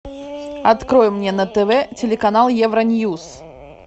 открой мне на тв телеканал евро ньюс